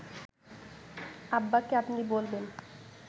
আব্বাকে আপনি বলবেন